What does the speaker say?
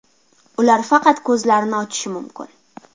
Ular faqat ko‘zlarini ochishi mumkin.